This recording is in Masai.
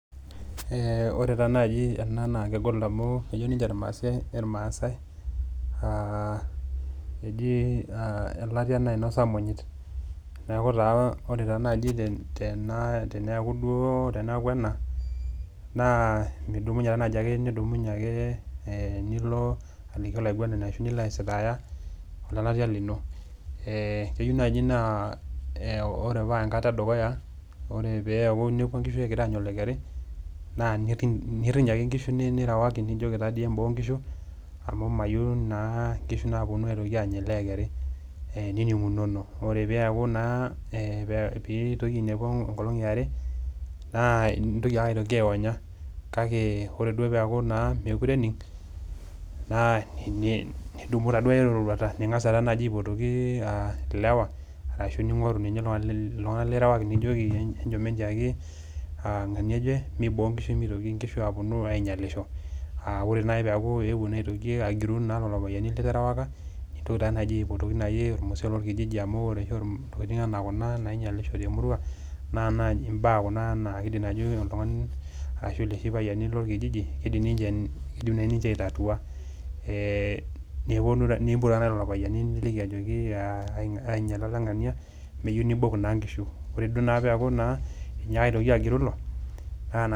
Ore taa naajo ena naa kegol amu, ejo ninche ilmaasai elatia nainosa imonyit. Neaku ore taa naaji teneaku duo ena, naa midumunye naaji ake nidumunye nilo aliki olaing'uanani ashu nilo aisitaaya, olelatia lino. Keyou naaji paa ore tanaa enkata e dukuya, ore peaku inepua inkishu egira aanya olokeri, naa niriny ake inkishu nirewaki nijoki taadei eimboo inkishu, amu mayiou naa inkishu naitoki aapuonu aanya ele okeri. nining'unono. Ore pee eyaku peitoki ainepu enkolong' e are, naa intoki ake ainyaki aionya, kake ore naa peaku mekure ening', naa nidumu naaduo eroruata. Niig'as alo naaaji aipotoki ilewa arashu ning'oru ninye iltung'ana lirewaki nijoki , enchom enttiaki ng'ania oje, meiboo inkishu meitoki inkishui aapuonu ainyalisho. Ore naaji peitoki aaku ewuo agiru naa lelo payiani literewaka, nintoki taa naaji aipotoki olmusee lolkijiji amu oere oshi intokitin anaa kuna nainyalisho te emurua, naa naaji imbaa kuna naa keidim ajo oltung'ani arashu looshi payiani lolkijiji, eidim naa naaji ninche aitatua. Nimpot taa naaji lelo payiani niliki ainyala oleng'ania, neyiou neibok naa inkishu, ore peaku naa einyaka agiru ilo